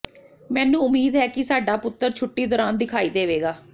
ਮੈਨੂੰ ਉਮੀਦ ਹੈ ਕਿ ਸਾਡਾ ਪੁੱਤਰ ਛੁੱਟੀ ਦੌਰਾਨ ਦਿਖਾਈ ਦੇਵੇਗਾ